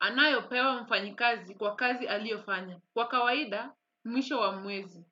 anayopewa mfanyi kazi kwa kazi aliofanya. Kwa kawaida, mwisho wa mwezi.